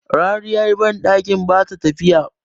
rariyar bandakin ba ta tafiya